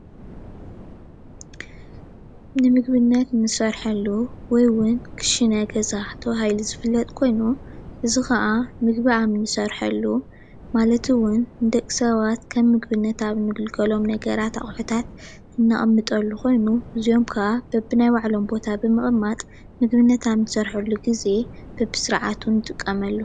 ንምግብነት ንሰርሐሉ ወይ እዉን ክሽነ ገዛ ተባሂሉ ዝፍለጥ ኮይኑ እዚ ከዓ ምግቢ ኣብ ንሰርሐሉ ማለት እዉን ንደቂሰባት ከም ምግብነት ዝግልገሎም ነገራት ኣቑሑታት ነቕምጠሉ ኮይኑ እዚኦም ከዓ በቢ ናይ ባዕሎም ቦታ ብምቕማጥ ንምግብነት ኣብ ንሰርሐሉ ግዘ ብብስርዓቱ ንጥቀመሉ።